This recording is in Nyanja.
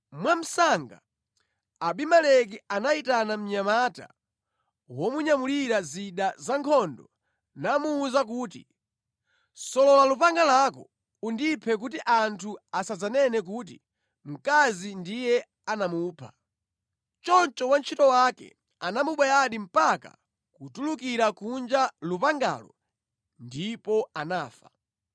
Mwamsanga Abimeleki anayitana mnyamata womunyamulira zida za nkhondo namuwuza kuti, “Solola lupanga lako undiphe kuti anthu asadzanene kuti, ‘Mkazi ndiye anamupha.’ ” Choncho wantchito wake anamubayadi mpaka kutulukira kunja lupangalo ndipo anafa.